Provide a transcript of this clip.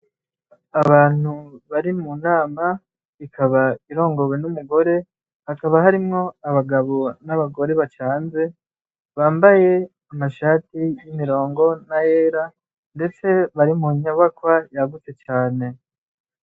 Abantu bari mu nama ikaba irongorwe n'umugore hakaba harimwo abagabo n'abagore bacanze bambaye amashati y'imirongo na yera mdetse bari mu nyobakwa yagutze cane.